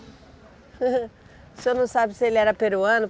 O senhor não sabe se ele era peruano?